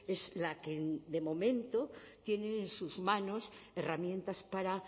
es la que de momento tiene en sus manos herramientas para